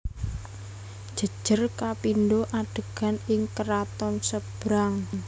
Jejer kapindo adegan ing keraton Sebrang